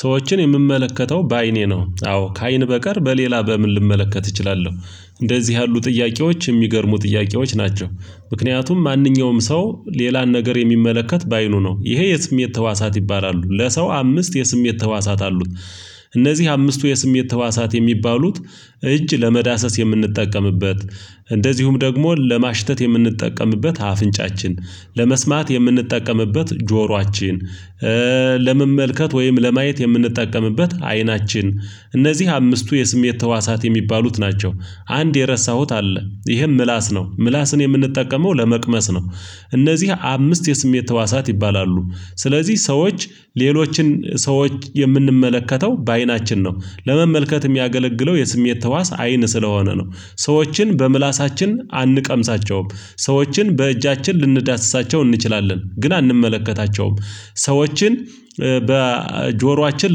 ሰዎችን የምመለከተው በአይኔ ነው አዎ ከአይን በቀር በሌላ በምን ልመለከት እችላለሁ። እንደዚህ ያሉ ጥያቄዎች የሚገርሙ ጥያቄዎች ናቸው። ምክንያቱም ማንኛውም ሰው ሌላን ነገር የሚመለከት በአይኑ ነው ይሄ የስሜት ተዋሳት ይባላሉ ለሰው አምስት የስሜት ተዋሳት አሉት። እነዚህ አምስቱ የስሜት ተዋሳት የሚባሉት እጅ ለመዳሰስ የምንጠቀምበት እንደዚሁም ደግሞ ለማሽተት የምንጠቀምበት አፍንጫችን ለመስማት የምንጠቀምበት ጆሯችን ለመመልከት ወይም ለማየት የምንጠቀምበት አይናችን። እነዚህ አምስቱ የስሜት ተዋሳት የሚባሉት ናቸው። አንድ የረሳሁት አለ ይሄም ምላስ ነው ምላስን የምንጠቀመው ለመቅመስ ነው። እነዚህ አምስት የስሜት ተዋሳት ይባላሉ። ስለዚህ ሰዎች ሌሎችን ሰዎች የምንመለከተው በአይናችን ነው። ለመመልከት የሚያገለግለው የስሜት ተዋስ አይን ስለሆነ ነው። ሰዎችን በምላሳችን አንቀምሳቸውም። ሰዎችን በእጃችን ልንዳስሳቸው እንችላለን ግን አንመለከታቸውም። ሰዎችን በጆሯችን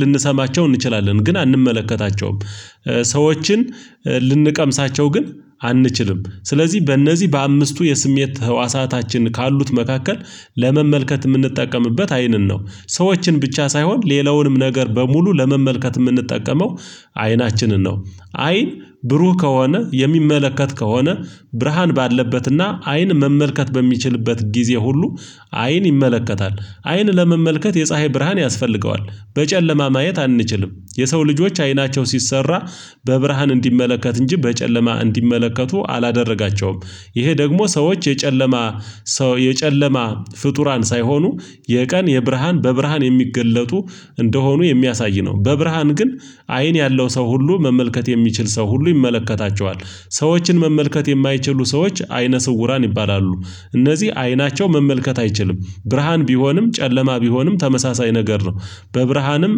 ልንሰማቸው እንችላለን ግን አንመለከታቸውም። ሰዎችን ልንቀምሳቸው ግን አንችልም ስለዚህ በእነዚህ በአምስቱ የስሜት ህዋሳታችን ካሉት መካከል ለመመልከት የምንጠቀምበት አይንን ነው። ሰዎችን ብቻ ሳይሆን ሌላውንም ነገር በሙሉ ለመመልከት የምንጠቀመው አይናችንን ነው። አይን ብሩህ ከሆነ የሚመለከት ከሆነ ብርሃን ባለበትና አይን መመልከት በሚችልበት ጊዜ ሁሉ አይን ይመለከታል። አይን ለመመልከት የፀሀይ ብርሃን ያስፈልገዋል። በጨለማ ማየት አንችልም። የሰው ልጆች አይናቸው ሲሰራ በብርሃን እንዲመለከት እንጂ በጨለማ እንዲመለከቱ አላደረጋቸውም። ይሄ ደግሞ ሰዎች የጨለማ ሰው የጨለማ ፍጡራን ሳይሆኑ የቀን የብርሃን በብርሃን የሚገለጡ እንደሆኑ የሚያሳይ ነው። በብርሃን ግን አይን ያለው ሰው ሁሉ መመልከት የሚችል ሰው ሁሉ ይመለከታቸዋል። ሰዎችን መመልከት የማይችሉ ሰዎች አይነ ስውራን ይባላሉ። እነዚህ አይናቸው መመልከት አይችልም ብርሃን ቢሆንም ጨለማ ቢሆንም ተመሳሳይ ነገር ነው። በብርሃንም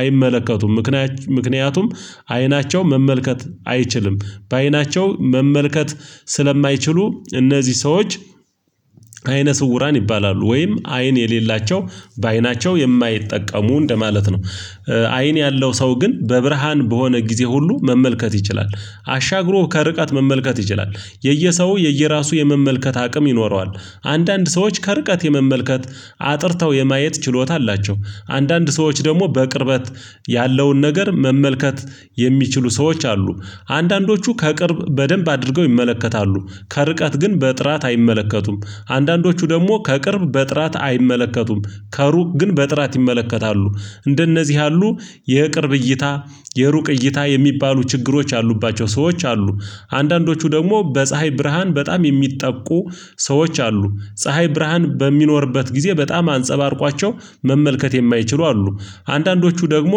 አይመለከቱም። ምክንያቱም አይናቸው መመልከት አይችልም በአይናቸው መመልከት ስለማይችሉ እነዚህ ሰዎች አይነ ስውራን ይባላሉ ወይም አይን የሌላቸው በአይናቸው የማይጠቀሙ እንደማለት ነው። አይን ያለው ሰው ግን በብርሃን በሆነ ጊዜ ሁሉ መመልከት ይችላል። አሻግሮ ከርቀት መመልከት ይችላል የየሰው የየራሱ የመመልከት አቅም ይኖረዋል። አንዳንድ ሰዎች ከርቀት የመመልከት አጥርተው የማየት ችሎታ አላቸው። አንዳንድ ሰዎች ደግሞ በቅርበት ያለውን ነገር መመልከት የሚችሉ ሰዎች አሉ። አንዳንዶቹ ከቅርብ በደንብ አድርገው ይመለከታሉ ከርቀት ግን በጥራት አይመለከቱም። አንዳንዶቹ ደግሞ ከቅርብ በጥራት አይመለከቱም ከሩቅ ግን በጥራት ይመለከታሉ። እንደነዚህ ያሉ የቅርብ እይታ የሩቅ እይታ የሚባሉ ችግሮች አሉባቸው ሰዎች አሉ። አንዳንዶቹ ደግሞ በፀሀይ ብርሃን በጣም የሚጠቁ ሰዎች አሉ። ፀሀይ ብርሃን በሚኖርበት ጊዜ በጣም አንፀባርቋቸው መመልከት የማይችሉ አሉ። አንዳንዶቹ ደግሞ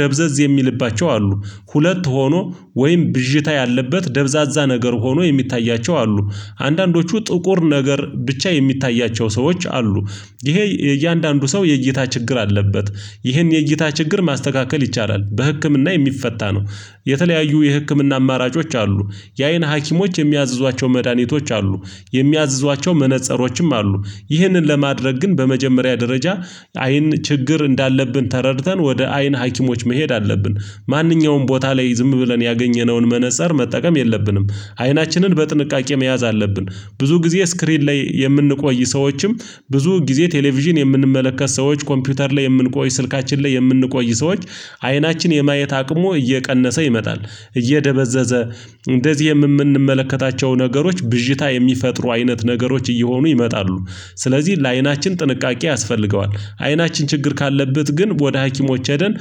ደብዘዝ የሚልባቸው አሉ። ሁለት ሆኖ ወይም ብዥታ ያለበት ደብዛዛ ነገር ሆኖ የሚታያቸው አሉ። አንዳንዶቹ ጥቁር ነገር ብቻ የሚታያቸው ሰዎች አሉ። ይሄ እያንዳንዱ ሰው የእይታ ችግር አለበት። ይህን የእይታ ችግር ማስተካከል ይቻላል በህክምና የሚፈታ ነው። የተለያዩ የህክምና አማራጮች አሉ። የአይን ሀኪሞች የሚያዝዟቸው መድኃኒቶች አሉ። የሚያዝዟቸው መነፀሮችም አሉ። ይህንን ለማድረግ ግን በመጀመሪያ ደረጃ አይን ችግር እንዳለብን ተረድተን ወደ አይን ሀኪሞች መሄድ አለብን። ማንኛውም ቦታ ላይ ዝም ብለን ያገኘነውን መነፀር መጠቀም የለብንም። አይናችንን በጥንቃቄ መያዝ አለብን። ብዙ ጊዜ ስክሪን ላይ የምንቆይ ሰዎችም ብዙ ጊዜ ቴሌቪዥን የምንመለከት ሰዎች ኮምፒውተር ላይ የምንቆይ ስልካችን ላይ የምንቆይ ሰዎች አይናችን የማየት አቅሙ እየቀነሰ ይመጣል። እየደበዘዘ እንደዚህ የምንመለከታቸው ነገሮች ብዥታ የሚፈጥሩ አይነት ነገሮች እየሆኑ ይመጣሉ። ስለዚህ ለአይናችን ጥንቃቄ ያስፈልገዋል። አይናችን ችግር ካለበት ግን ወደ ሀኪሞች ሄደን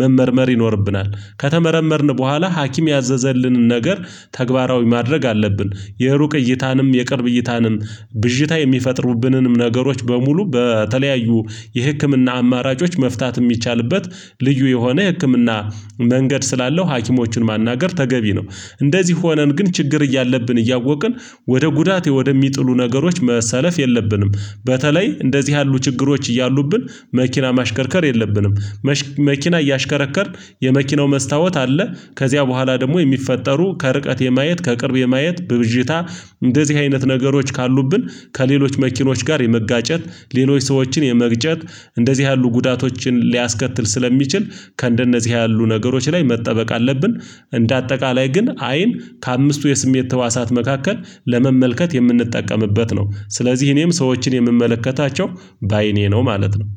መመርመር ይኖርብናል። ከተመረመርን በኋላ ሀኪም ያዘዘልንን ነገር ተግባራዊ ማድረግ አለብን። የሩቅ እይታንም የቅርብ እይታንም ብዥታ የሚፈጥሩብንንም ነገሮች በሙሉ በተለያዩ የህክምና አማራጮች መፍታት የሚቻልበት ልዩ የሆነ የህክምና መንገድ ስላለው ሀኪሞችን ማናገር ተገቢ ነው። እንደዚህ ሆነን ግን ችግር እያለብን እያወቅን ወደ ጉዳት ወደሚጥሉ ነገሮች መሰለፍ የለብንም። በተለይ እንደዚህ ያሉ ችግሮች እያሉብን መኪና ማሽከርከር የለብንም። መኪና እያሽከረከርን የመኪናው መስታወት አለ። ከዚያ በኋላ ደግሞ የሚፈጠሩ ከርቀት የማየት ከቅርብ የማየት በብዥታ እንደዚህ አይነት ነገሮች ካሉብን ከሌሎች መኪኖች ጋር የመጋጨት ሌሎች ሰዎችን የመግጨት እንደዚህ ያሉ ጉዳቶችን ሊያስከትል ስለሚችል ከእንደነዚህ ያሉ ነገሮች ላይ መጠበቅ አለብን። እንደ አጠቃላይ ግን አይን ከአምስቱ የስሜት ተዋሳት መካከል ለመመልከት የምንጠቀምበት ነው። ስለዚህ እኔም ሰዎችን የምመለከታቸው በአይኔ ነው ማለት ነው